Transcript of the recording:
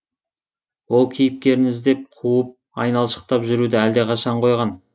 ол кейіпкерін іздеп қуып айналшықтап жүруді әлдеқашан қойған